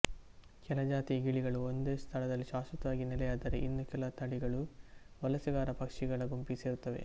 ಕೆಲ ಜಾತಿಯ ಗಿಳಿಗಳು ಒಂದೇ ಸ್ಥಳದಲ್ಲಿ ಶಾಶ್ವತವಾಗಿ ನೆಲೆಯಾದರೆ ಇನ್ನು ಕೆಲವು ತಳಿಗಳು ವಲಸೆಗಾರ ಪಕ್ಷಿಗಳ ಗುಂಪಿಗೆ ಸೇರುತ್ತವೆ